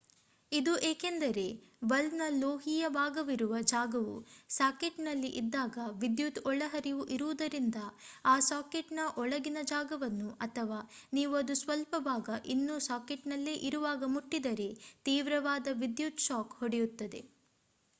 ಇದು ಏಕೆಂದರೆ ಬಲ್ಬ್ ನ ಲೋಹೀಯ ಭಾಗವಿರುವ ಜಾಗವು ಸಾಕೆಟ್ನಲ್ಲಿ ಇದ್ದಾಗ ವಿದ್ಯುತ್ ಒಳಹರಿವು ಇರುವುದರಿಂದ ಆ ಸಾಕೆಟ್ನ ಒಳಗಿನ ಜಾಗವನ್ನು ಅಥವಾ ನೀವು ಅದು ಸ್ವಲ್ಪ ಭಾಗ ಇನ್ನೂ ಸಾಕೆಟ್ನಲ್ಲೆ ಇರುವಾಗ ಮುಟ್ಟಿದರೆ ತೀವ್ರವಾದ ವಿದ್ಯುತ್ ಶಾಕ್ ಹೊಡೆಯುತ್ತದೆ